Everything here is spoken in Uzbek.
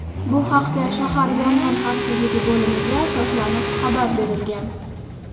Bu haqda shahar Yong‘in xavfsizligi bo‘limiga asoslanib xabar berilgan.